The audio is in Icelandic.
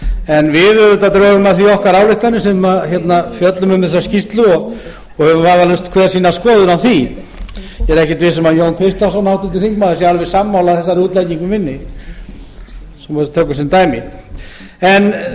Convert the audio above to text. en við auðvitað drögum af því okkar ályktanir sem fjöllum um þessa skýrslu og höfum vafalaust hver sína skoðun á því ég er ekkert viss um að jón kristjánsson háttvirtur þingmaður sé alveg sammála þessari útleggingu minni svo við tökum sem dæmi en hér er auðvitað